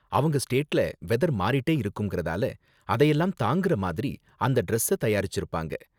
அவங்க ஸ்டேட்ல வெதர் மாறிட்டே இருக்கும்றதால அதையெல்லாம் தாங்குற மாதிரி அந்த டிரஸ்ஸ தயாரிச்சுருப்பாங்க.